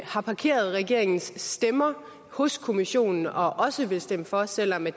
har parkeret regeringens stemmer hos kommissionen og også vil stemme for selv om det